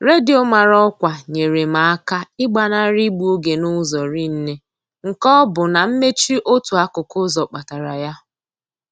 Redio mara ọkwa nyere m aka ịgbanarị igbu oge n'ụzọ rinne nke ọ bụ na mmechi otu akụkụ ụzọ kpatara ya.